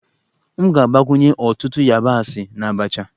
M ga-agbakwunye ọtụtụ yabasị na abacha